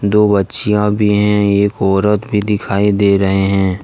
दो बच्चियाँ भी है एक औरत भी दिखाई दे रहे है।